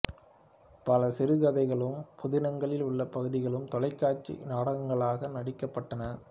பல சிறு கதைகளும் புதினங்களில் உள்ள பகுதிகளும் தொலைக்காட்சி நாடகங்களாக நடிக்கப்பட்டன